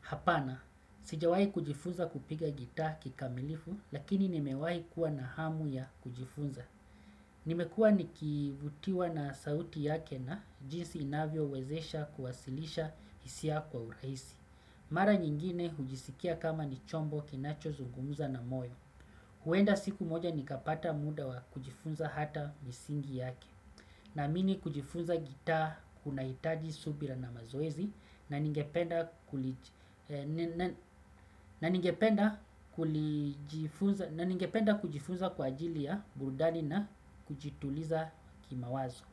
Hapana, sijawai kujifunza kupiga gita kikamilifu, lakini nimewahi kuwa na hamu ya kujifunza. Nimekuwa nikivutiwa na sauti yake na jinsi inavyo wezesha kuwasilisha hisia kwa urahisi. Mara nyingine hujisikia kama ni chombo kinacho zungumuza na moyo. Huenda siku moja nikapata muda wa kujifunza hata misingi yake. Namini kujifunza gitaa kunahitaji subira na mazoezi na ningependa ningependa kujifunza kwa ajili ya burudani na kujituliza kimawazo.